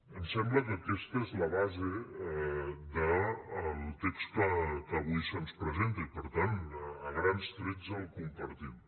em sembla que aquesta és la base del text que avui se’ns presenta i per tant a grans trets el compartim